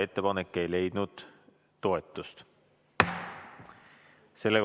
Ettepanek ei leidnud toetust.